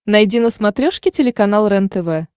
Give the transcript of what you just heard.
найди на смотрешке телеканал рентв